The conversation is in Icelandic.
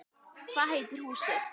Hvað heitir húsið?